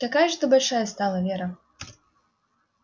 какая же ты большая стала вера